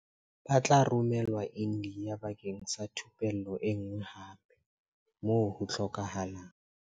Ba tla romelwa India bakeng sa thupello enngwe hape, moo ho hlokehang.